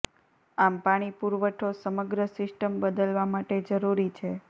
આમ પાણી પુરવઠો સમગ્ર સિસ્ટમ બદલવા માટે જરૂરી છે